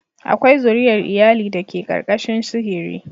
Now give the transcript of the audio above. Akwai zuriyar iyali da ke ƙarƙashin sihiri.